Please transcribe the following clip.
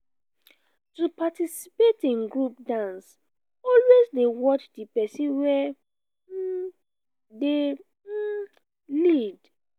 to participate in group dance always de watch di persin wey um de um lead